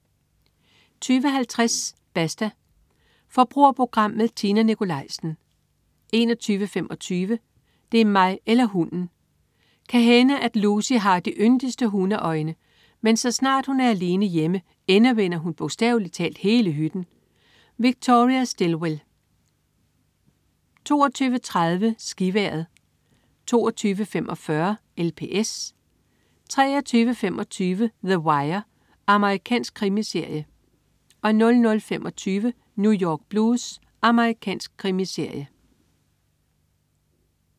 20.50 Basta. Forbrugerprogram med Tina Nikolaisen 21.25 Det er mig eller hunden! Kan hænde, at Lucy har de yndigste hundeøjne, men så snart hun er alene hjemme, endevender hun bogstavelig talt hele hytten. Victoria Stilwell 22.30 SkiVejret 22.45 LPS 23.25 The Wire. Amerikansk krimiserie 00.25 New York Blues. Amerikansk krimiserie